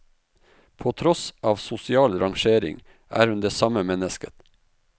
På tross av sosial rangering er hun det samme mennesket.